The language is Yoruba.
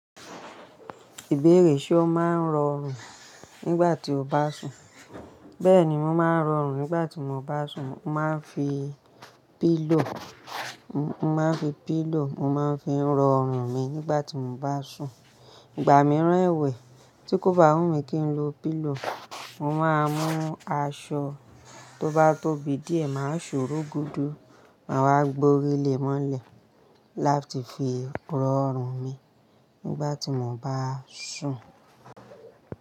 Ìbéèrè ṣe o máa ń rọrùn nígbà tí o bá sùn? Bẹ́ẹ̀ni mo máa ń rọrùn nígbà tí mo bá sùn. Mo máa ń fi pillow, mo máa ń fi pillow, mo máa ń fi rọrùn mi nígbà tí mo bá sùn. Ìgbà mìíràn èwì tí kò bá wù mí kí n lo pillow, mo máa mú aṣọ tó bá tóbi díẹ̀, màá ṣòro gudu, màá wá gborílé mọ́lẹ̀ láti fi rọrùn mi nígbà tí mo bá sùn.